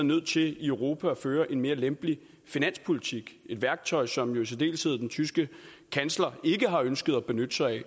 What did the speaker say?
nødt til i europa at føre en mere lempelig finanspolitik et værktøj som jo i særdeleshed den tyske kansler ikke har ønsket at benytte sig